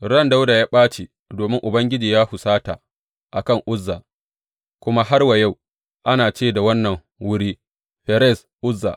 Ran Dawuda ya ɓace domin Ubangiji ya husata a kan Uzza, kuma har wa yau ana ce da wannan wuri Ferez Uzza.